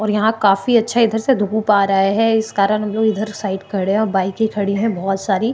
और यहाँ काफी अच्छा इधर से धुप आ रहा है इस कारण हमलोग इधर साइड खड़े है और बाइके खड़ी है बहुत सारी --